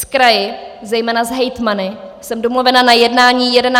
S kraji, zejména s hejtmany, jsem domluvena na jednání 11. června.